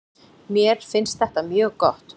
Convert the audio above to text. Mér finnst þetta mjög gott.